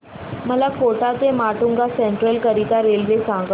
मला कोटा ते माटुंगा सेंट्रल करीता रेल्वे सांगा